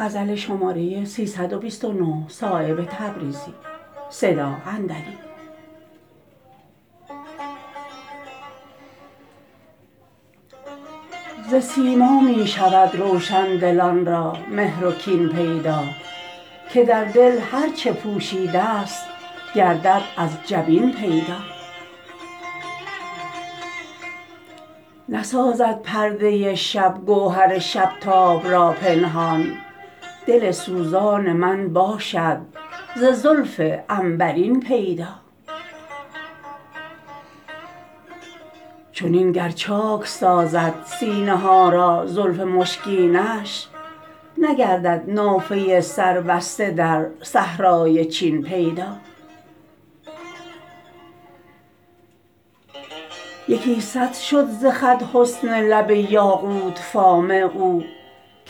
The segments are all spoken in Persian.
ز سیما می شود روشندلان را مهر و کین پیدا که در دل هر چه پوشیده است گردد از جبین پیدا نسازد پرده شب گوهر شب تاب را پنهان دل سوزان من باشد ز زلف عنبرین پیدا چنین گر چاک سازد سینه ها را زلف مشکینش نگردد نافه سربسته در صحرای چین پیدا یکی صد شد ز خط حسن لب یاقوت فام او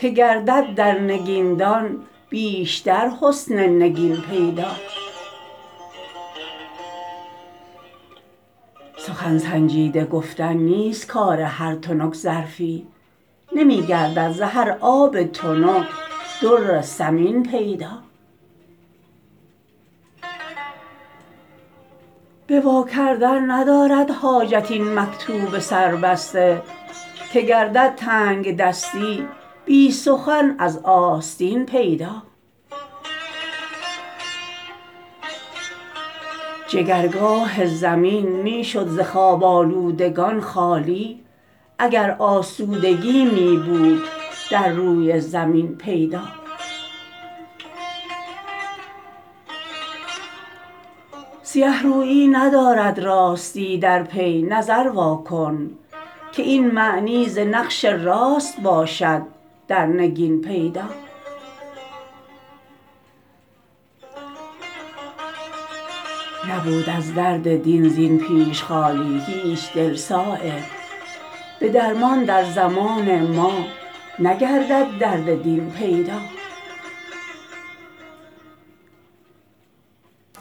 که گردد در نگین دان بیشتر حسن نگین پیدا سخن سنجیده گفتن نیست کار هر تنک ظرفی نمی گردد ز هر آب تنک در ثمین پیدا به وا کردن ندارد حاجت این مکتوب سر بسته که گردد تنگدستی بی سخن از آستین پیدا جگرگاه زمین می شد ز خواب آلودگان خالی اگر آسودگی می بود در روی زمین پیدا سیه رویی ندارد راستی در پی نظر واکن که این معنی ز نقش راست باشد در نگین پیدا نبود از درد دین زین پیش خالی هیچ دل صایب به درمان در زمان ما نگردد درد دین پیدا